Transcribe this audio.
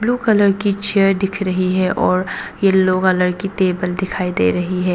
Blue colour की chair दिख रही है और येलो कलर टेबल दिखाई दे रही है।